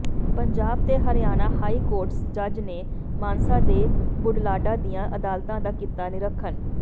ਪੰਜਾਬ ਤੇ Haryana high court ਜੱਜ ਨੇ ਮਾਨਸਾ ਤੇ ਬੁਢਲਾਡਾ ਦੀਆਂ ਅਦਾਲਤਾਂ ਦਾ ਕੀਤਾ ਨਿਰੀਖਣ